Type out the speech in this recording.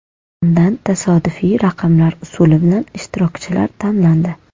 Undan tasodifiy raqamlar usuli bilan ishtirokchilar tanlandi.